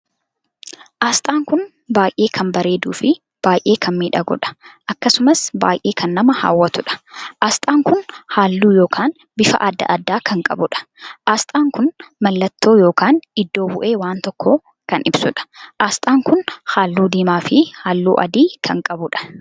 Asxaan kun baay'ee kan bareeduu fin baay'ee kan miidhaguudha. Akkasumas baay'ee kan nama hawwatuudha. Asxaan kun halluu ykn bifa addaa addaa kan qabuudha. Asxaan kun mallattoo ykn iddoo buhee waan tokkoo kan ibsuudha. Asxaan kun halluu diimaa fi halluu adii kan qabuudha.